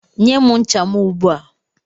Nye m ncha m ugbu a!